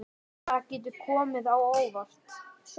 Það getur komið á óvart.